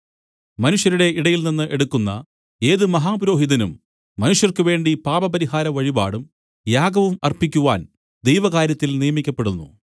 മനുഷ്യരുടെ ഇടയിൽനിന്ന് എടുക്കുന്ന ഏത് മഹാപുരോഹിതനും മനുഷ്യർക്കുവേണ്ടി പാപപരിഹാര വഴിപാടും യാഗവും അർപ്പിക്കുവാൻ ദൈവകാര്യത്തിൽ നിയമിക്കപ്പെടുന്നു